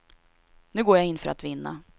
Nu går jag in för att vinna.